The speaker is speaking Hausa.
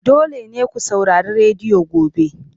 Dole ne ku saurari rediyo gobe!